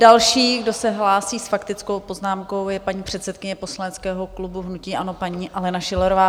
Další, kdo se hlásí s faktickou poznámkou, je paní předsedkyně poslaneckého klubu hnutí ANO, paní Alena Schillerová.